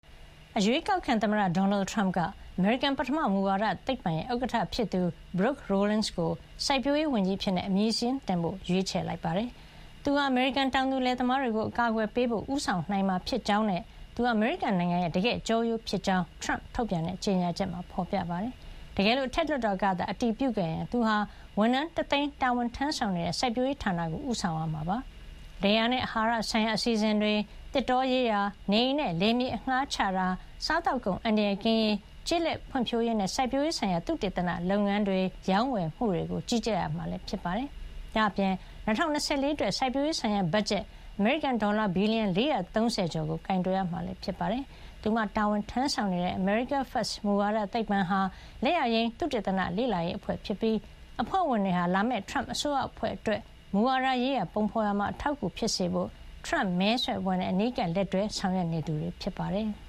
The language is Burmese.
အရွေးကောက်ခံသမ္မတ ဒေါ်နယ်ထရမ့်က အမေရိကန် ပထမ မူဝါဒသိပ္ပံ AFPI ရဲ့ ဥက္ကဌဖြစ်သူ Brooke Rollins ကို စိုက်ပျိုးရေးဝန်ကြီးအဖြစ် အမည်စာရင်းတင်ဖို့ ရွေးချယ်ခဲ့ပါတယ်။ သူဟာ အမေရိကန် တောင်သူလယ်သမားတွေကို အကာကွယ်ပေးဖို့ ဦးဆောင်နိုင်မှာ ဖြစ်ကြောင်းနဲ့ သူဟာ အမေရိကန်နိုင်ငံရဲ့ တကယ့် ကျောရိုးဖြစ်ကြောင်း ထရမ့်ထုတ်ပြန်တဲ့ ကြေညာချက်မှာ ဖေါ်ပြထားပါတယ်။ တကယ်လို့ အထက်လွှတ်တော်ကသာ အတည်ပြုခဲ့ရင် သူဟာ ဝန်ထမ်း ၁ သိန်း တာဝန်ထမ်းဆောင်နေတဲ့ စိုက်ပျိုးရေးဌာနကို ဦးဆောင်ရမှာဖြစ်ပြီး လယ်ယာနဲ့ အဟာရဆိုင်ရာ အစီအစဉ်တွေ၊ သစ်တောရေးရာ၊ နေအိမ်နဲ့ လယ်ယာမြေ အငှါးချတာ၊ စားသောက်ကုန် အန္တရာယ်ကင်းရေး၊ ကျေးလက်ဖွံ့ဖြိုးရေးနဲ့ စိုက်ပျိုးရေးဆိုင်ရာ သုတေသနလုပ်ငန်းတွေ၊ ရောင်းဝယ်မှုတွေကို ကြီးကြပ်ရမှာ ဖြစ်ပါတယ်။ ဒါ့အပြင် ၂၀၂၄ အတွက် စိုက်ပျိုးရေးဆိုင်ရာ ဘတ်ဂျက် အမေရိကန် ဒေါ်လာ ဘီလီယံ ၄၃၀ ကျော်ကို ကိုင်တွယ်ရမှာ လည်း ဖြစ်ပါတယ်။ သူမတာဝန်ထမ်းဆောင်နေတဲ့ America First မူဝါဒသိပ္ပံဟာ လက်ယာယိမ်း သုတေသန လေ့လာရေးအဖွဲ့ ဖြစ်ပြီး အဖွဲ့ဝင်တွေဟာ လာမယ့် ထရမ့်အစိုးရအဖွဲ့အတွက် မူဝါဒရေးရာ ပုံဖေါ်ရာမှာ အထောက်အကူ ဖြစ်စေဖို့ ထရမ့်မဲဆွယ်အဖွဲ့နဲ့ အနီးကပ် လက်တွဲဆောင်ရွက်နေသူတွေ ဖြစ်ပါတယ်။